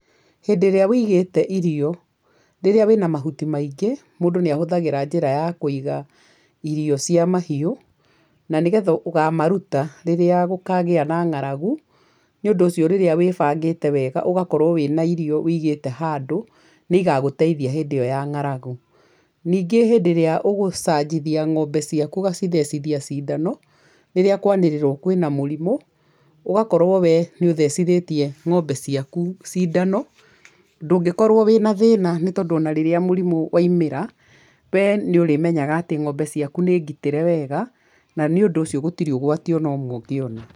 Hĩndĩ ĩrĩa wũigĩte irio, rĩrĩa wĩna mahuti maingĩ, mũndũ nĩ ahũthagĩra njĩra ya kuiga irio cia mahiũ, na nĩgetha ũkamariuta rĩrĩa gũkagĩa na ng'aragu, nĩ ũndũ ũcio rĩrĩa wĩbangĩte wega ũgakorwo wĩna irio wũigĩte handũ, nĩ igagũteithia hĩndĩ ĩyo ya ng'aragu. Ningĩ hĩndĩ ĩrĩa ũgũcanjithia ng'ombe ciaku ũgacithecithia cindano, rĩrĩa kwanĩrĩrwo kwĩna mũrimũ, ũgakorwo we nĩ uthecithĩtie ng'ombe ciaku cindano, ndũngĩkorwo wĩna thĩĩna nĩ tondũ ona rĩrĩa mũrimũ waumĩra we nĩ ũrĩmenyaga atĩ ng'ombe ciaku nĩ ngitĩre wega na nĩ ũndũ ũcio gũtirĩ ũgwati ona ũmwe ũngĩona.